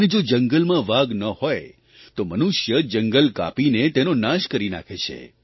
અને જો જંગલમાં વાઘ ન હોય તો મનુષ્ય જંગલ કાપીને તેનો નાશ કરી નાંખે છે